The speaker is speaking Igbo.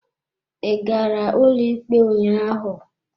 Ị gara ụlọikpe ụnyaahụ?